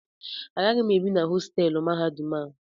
Agaghị m ebi na hostelụ mahadum a